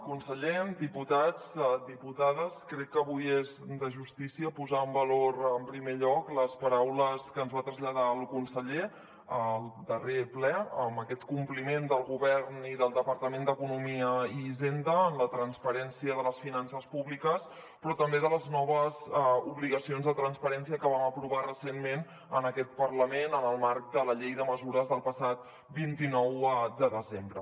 conseller diputats diputades crec que avui és de justícia posar en valor en primer lloc les paraules que ens va traslladar el conseller al darrer ple amb aquest compliment del govern i del departament d’economia i hisenda en la transparència de les finances públiques però també de les noves obligacions de transparència que vam aprovar recentment en aquest parlament en el marc de la llei de mesures del passat vint nou de desembre